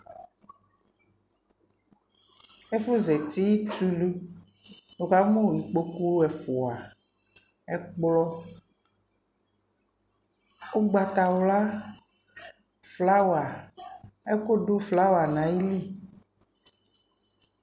Ɛfu zati tu luwuka mu ikpoku ɛfuaƐkplɔ ugbata wlaFlawa, ɛku du flawa na yi li